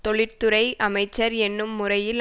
தொழிற்துறை அமைச்சர் என்னும் முறையில்